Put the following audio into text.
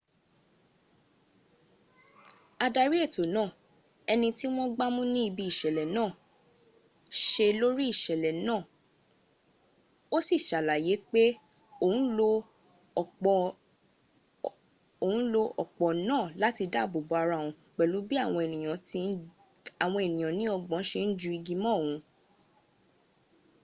adari eto naa eniti won gbamu ni ibi isele naa se lori isele na o si s'alaye wipe oun lo opo naa lati daabo bo ara oun pelu bi awon eniyan ni ogbon se n ju igo mo oun